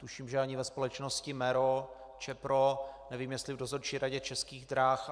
Tuším, že ani ve společnosti MERO, Čepro, nevím, jestli v dozorčí radě Českých drah.